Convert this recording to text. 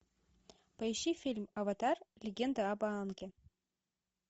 поищи фильм аватар легенда об аанге